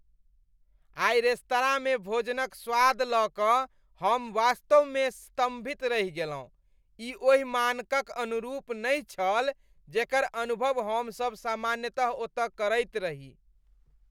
आइ रेस्तरांमे भोजनक स्वाद लऽ कऽ हम वास्तवमें स्तम्भित रहि गेलहुँ। ई ओहि मानकक अनुरूप नहि छल जेकर अनुभव हमसब सामान्यतः ओतऽ करैत रही।